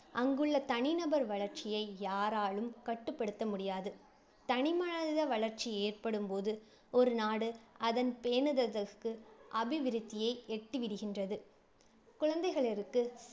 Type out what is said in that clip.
அங்குள்ள தனிநபர் வளர்ச்சியை யாராலும் கட்டுப்படுத்த முடியாது. தனிமனித வளர்ச்சி ஏற்படும் போது ஒரு நாடு அதன் அபிவிருத்தியை எட்டி விடுகின்றது. குழந்தைகளிற்கு